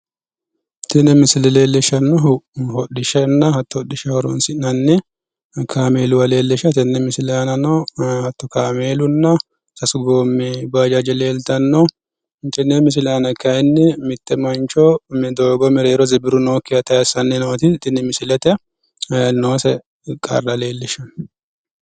Tini misile leellishanohu hodhishshaho hodhishshaho horonsi'nanni kaameellanna doogo tayse sa"ani no beettoti